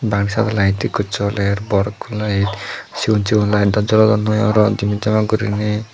bangedi side ot light ekko joler bor ekko light sigon sigon light dw jolodon noi aro jimit jamat guriney.